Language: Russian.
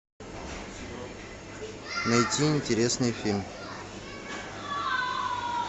найти интересный фильм